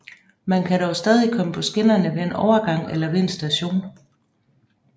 Man kan dog stadig komme på skinnerne ved en overgang eller ved en station